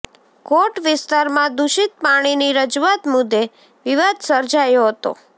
કોટ વિસ્તારમાં દુષિત પાણીની રજૂઆત મુદ્દે વિવાદ સર્જાયો હતો